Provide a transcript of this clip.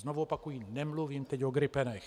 Znovu opakuji: Nemluvím teď o gripenech.